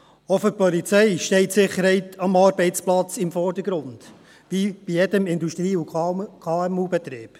Auch für die Polizei steht die Sicherheit am Arbeitsplatz im Vordergrund, wie bei jedem Industrie- und KMU-Betrieb.